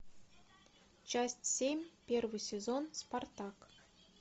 часть семь первый сезон спартак